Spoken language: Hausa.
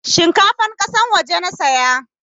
Shinkafan kasan waje nasiya